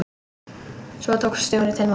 Svo tók Stjóri til máls.